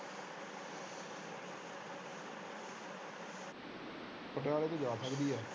ਪਟਿਆਲੇ ਤੋਂ ਜਾ ਸਕਦੀ ਆ।